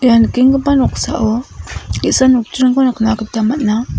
ia nikenggipa noksao ge·sa nokdringko nikna gita man·a.